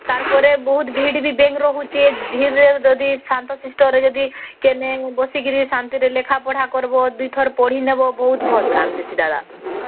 ତାର ପରେ ବହୁତ ଭିଡ଼ ବି bank ରହୁଛେ ଧୀରେ ଧୀରେ ଯଦି ଶାନ୍ତ ଶିଷ୍ଟ ରେ ଯଦି କେନେ ବସିକରି ଶାନ୍ତି ରେ ଲେଖା ପଢା କରିବା ଦୁଇ ଥର ପଢିନବ ବହୁତ ଭଲ କାମ ଦେଶୀ ଦାଦା